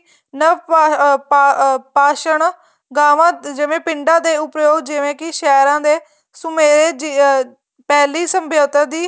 ਅਹ ਪਾਸ਼ਣ ਗਾਵਾਂ ਜਿਵੇਂ ਪਿੰਡਾਂ ਦੇ ਉੱਪਯੋਗ ਜਿਵੇਂ ਕੀ ਸ਼ਹਿਰਾਂ ਦੇ ਸੁਮੇਦ ਪਹਿਲੀ ਸਮਬੋਧਿਤੀ